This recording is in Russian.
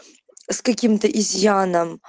с каким-то изъян